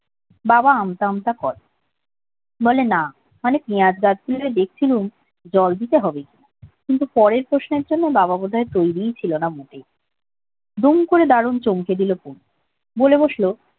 বাবা আমতা আমতা করে বলে না পিঁয়াজ গাছগুলো দেখছিলুম জল দিতে হবে কিনা কিন্তু পরের প্রশ্নের জন্য বাবা বোধ হয় তৈরিই ছিল না মোটেই দুম করে দারুন চমকে দিলাম পুনু বলে বসলো